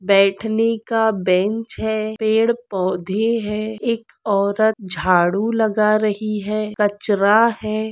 बैठने का बेंच है पेडपौधे है एक औरत झाड़ू लगा रही है कचरा है।